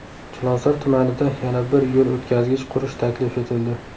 Chilonzor tumanida yana bir yo‘l o‘tkazgich qurish taklif etildi.